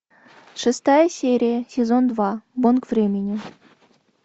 шестая серия сезон два бонг времени